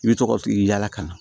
I bɛ tɔgɔ yaala ka na